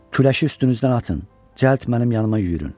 Küləşi üstünüzdən atın, cəld mənim yanıma yüriyün.